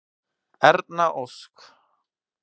Erna Ósk.